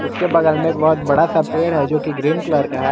उसके बगल में एक बहुत बड़ा सा पेड़ है जो कि ग्रीन कलर का है।